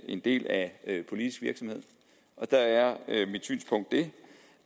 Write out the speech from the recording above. en del af politisk virksomhed der er mit synspunkt det